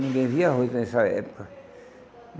Ninguém via arroz nessa época.